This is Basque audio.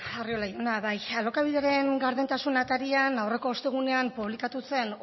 arriola jauna bai alokabideren gardentasun atarian aurreko ostegunean publikatu zen